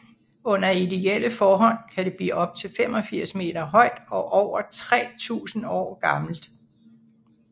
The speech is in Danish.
Under ideelle forhold kan det blive op til 85 meter højt og over 3000 år gammelt